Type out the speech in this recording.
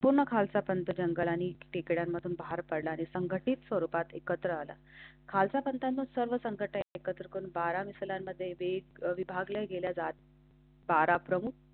जंगल आणि तिकडून मधून बाहेर पडला आहे. संघटित स्वरूपात एकत्र आला. खालचा करताना सर्व संघटना एकत्र येऊन मिसळमध्ये वेग विभागला बारा गेला जात. बारा प्रमुख.